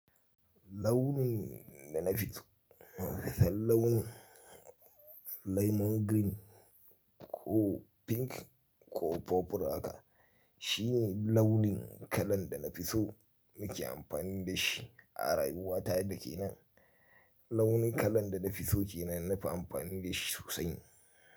Launin da na fi so, nafi son launi lemon green ko pink ko purple haka shine launin kalan da na fi so nake amfani da shi a rayuwa ta da ke nan. Launi kalan da na fi so ke nan na fi amfani da shi sosai.